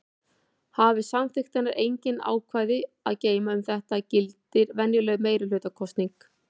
Hafi samþykktirnar engin ákvæði að geyma um þetta gildir venjuleg meirihlutakosning.